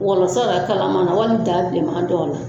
Wɔlɔsɔ Yɛrɛ kalaman na wali daa bilenman dɔw la.